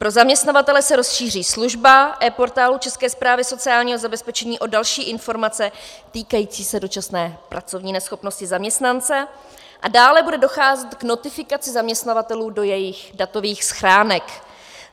Pro zaměstnavatele se rozšíří služba ePortálu České správy sociálního zabezpečení o další informace týkající se dočasné pracovní neschopnosti zaměstnance a dále bude docházet k notifikaci zaměstnavatelů do jejich datových schránek.